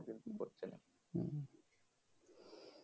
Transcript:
কিন্তু করছে না